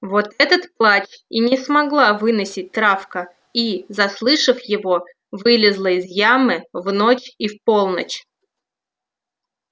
вот этот плач и не могла выносить травка и заслышав его вылезала из ямы в ночь и в полночь